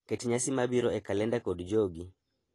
Ket nyasi mabiro e kalenda kod jogi.